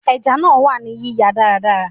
Ẹja náà wà ní yíyan dáradára.